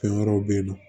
Fɛn wɛrɛw bɛ ye nɔ